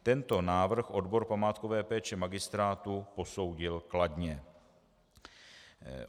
Tento návrh odbor památkové péče magistrátu posoudil kladně.